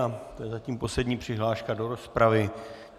A to je zatím poslední přihláška do rozpravy.